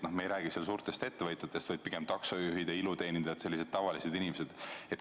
Me ei räägi suurtest ettevõtetest, vaid pigem taksojuhtidest ja iluteenindajatest – sellised tavalised inimesed.